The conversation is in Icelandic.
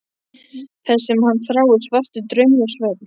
Það sem hann þráir: svartur, draumlaus svefn.